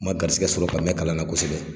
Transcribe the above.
Ma garisigɛ sɔrɔ ka mɛ kalan na kosɛbɛ.